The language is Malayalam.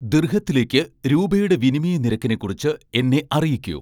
ദിർഹത്തിലേക്ക് രൂപയുടെ വിനിമയ നിരക്കിനെക്കുറിച്ച് എന്നെ അറിയിക്കൂ